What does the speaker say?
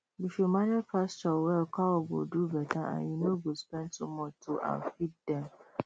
if you manage pasture well cow go do better and you no go spend too much to um feed dem